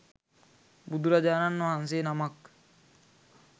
බුදුරජාණන් වහන්සේ නමක්